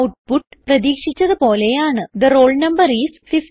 output പ്രതീക്ഷിച്ചത് പോലെ ആണ് തെ റോൾ നംബർ ഐഎസ് 50